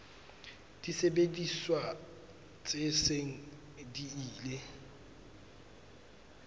disebediswa tse seng di ile